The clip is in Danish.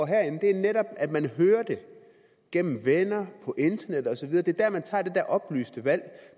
herinde det er netop at man hører det gennem venner på internettet og så videre det er der man tager det der oplyste valg